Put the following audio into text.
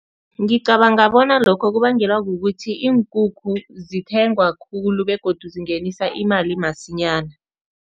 Ngicabanga bona lokho kubangelwa kukuthi iinkukhu zithengwa khulu begodu zingenisa imali masinyana.